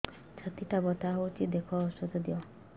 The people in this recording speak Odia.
ଛାତି ଟା ବଥା ହଉଚି ଦେଖ ଔଷଧ ଦିଅ